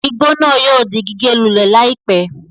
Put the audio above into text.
Igbó náà yóò di gígé lulẹ̀ láìpé